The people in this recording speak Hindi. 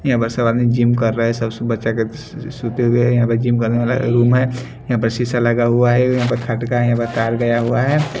यहां पर सब आदमी जिम कर रहे हैं सब बच्चा के सोते हुए यहां पर जिम करने रूम है यहां पर शीशा लगा हुआ है यहां पर खटका है यहां पर तार गया हुआ है।